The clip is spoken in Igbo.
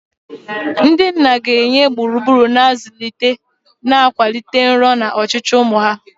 Ndị nna ga-enye gburugburu na-azụlite, na-akwalite nrọ na ọchịchọ ụmụ ha.